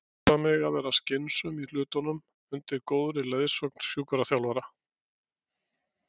Passa mig að vera skynsöm í hlutunum undir góðri leiðsögn sjúkraþjálfara.